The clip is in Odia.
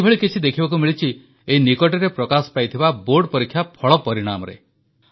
ଏଇଭଳି କିଛି ଦେଖିବାକୁ ମିଳିଛି ଏଇ ନିକଟରେ ପ୍ରକାଶ ପାଇଥିବା ବୋର୍ଡ ପରୀକ୍ଷା ଫଳ ପରିଣାମରେ